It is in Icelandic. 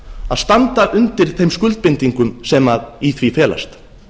að standa undir þeim skuldbindingum sem í því felast